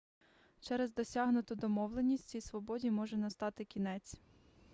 через досягнуту домовленість цій свободі може настати кінець